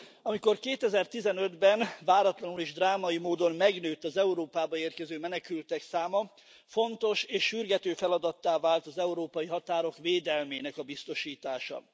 Amikor 2015 ben váratlanul és drámai módon megnőtt az Európába érkező menekültek száma, fontos és sürgető feladattá vált az európai határok védelmének a biztosítása.